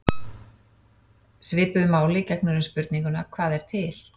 Svipuðu máli gegnir um spurninguna: Hvað er til?